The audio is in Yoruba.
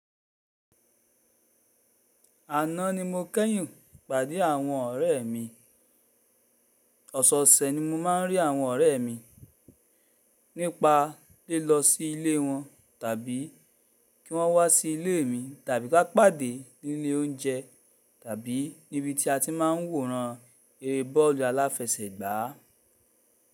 Àná ni mo kẹ́yìn pàdé àwọn ọ̀rẹ́ mi. Ọ̀sọ̀ọ̀sẹ̀ ni mo máa ń rí àwọn ọ̀rẹ́ mi, nípa lilo sí ilé wọn tàbí kí wọ́n wá sí ilé mi tàbí ka pàdé ní ilé oúnjẹ tàbí níbi tí a ti máa ń wòran eré bọ́ọ̀lù aláfẹsẹ̀gbá.